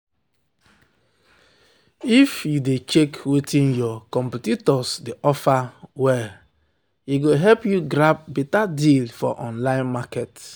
if you dey check wetin your competitors dey offer well-well e go help you grab beta deal for online market.